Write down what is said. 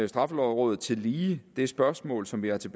straffelovrådet tillige det spørgsmål som vi har til